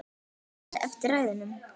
Hann blæs eftir ræðuna.